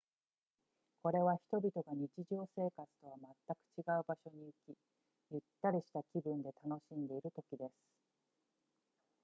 これは人々が日常生活とはまったく違う場所に行きゆったりした気分で楽しんでいる時です